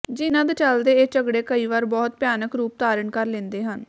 ਜਿਨ੍ਹਾਂ ਦੇ ਚਲਦੇ ਇਹ ਝਗੜੇ ਕਈ ਵਾਰ ਬਹੁਤ ਭਿਆਨਕ ਰੂਪ ਧਾਰਨ ਕਰ ਲੈਂਦੇ ਹਨ